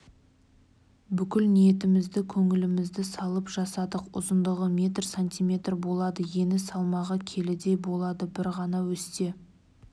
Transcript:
бүкіл ниетімізді көңілімізді салып жасадық ұзындығы метр сантиметр болады ені салмағы келідей болады бір ғана өсте